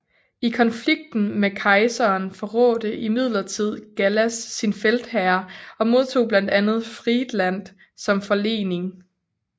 I konflikten med kejseren forrådte imidlertid Gallas sin feltherre og modtog blandt andet Friedland som forlening